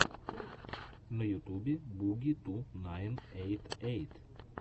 на ютубе буги ту найн эйт эйт